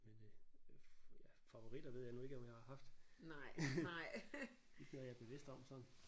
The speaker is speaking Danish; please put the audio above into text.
Men øh ja favoritter ved jeg nu ikke om jeg har haft. Ikke noget jeg er bevidst om sådan